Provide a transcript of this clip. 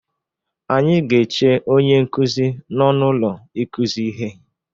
Anyị ga-eche onye nkụzi n'ọnụ ụlọ ikụzi ihe.